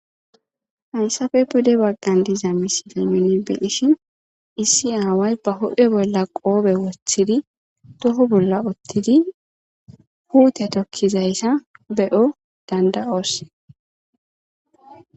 Hayisafe pude baggan diza misidaymine beishin issi aaway ba hophe bolla qoobe wothidi doho bolla uttidi puute tokkizayssa be'o danda'oos